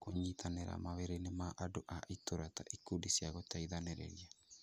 Kũnyitanĩra mawĩrainĩ ma andũ a itũũra ta ikundi cia gũteithĩrĩria